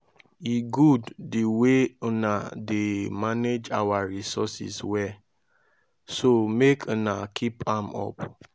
e good the way una dey manage our resources well so make una keep am up